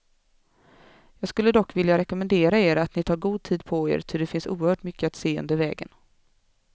Jag skulle dock vilja rekommendera er, att ni tar god tid på er, ty det finns oerhört mycket att se under vägen.